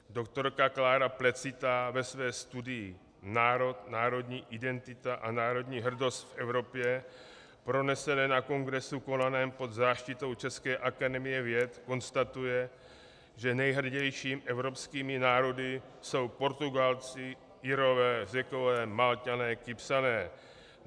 Doktorka Klára Plecitá ve své studii Národ, národní identita a národní hrdost v Evropě pronesené na kongresu konaném pod záštitou české Akademie věd konstatuje, že nejhrdějšími evropskými národy jsou Portugalci, Irové, Řekové, Malťané, Kypřané.